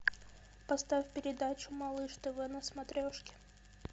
поставь передачу малыш тв на смотрешке